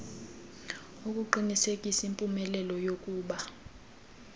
akuqinisekisi mpumelelo yakuba